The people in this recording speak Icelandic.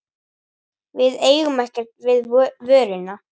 Við eigum ekkert við vöruna.